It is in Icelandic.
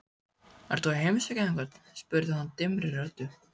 Ert þú að heimsækja einhvern? spurði hann dimmri röddu.